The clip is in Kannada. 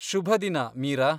ಶುಭದಿನ, ಮೀರಾ.